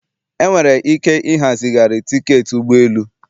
Enwere ike ịha zigharị tiketi ụgbọ elu